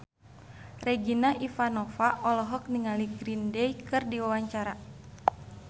Regina Ivanova olohok ningali Green Day keur diwawancara